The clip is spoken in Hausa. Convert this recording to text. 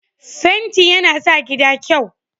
fenti ya na sa gida kyau